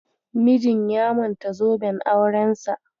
Mijin ya manta zoben aurensa.